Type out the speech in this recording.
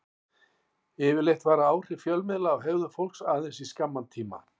Yfirleitt vara áhrif fjölmiðla á hegðun fólks aðeins í skamman tíma.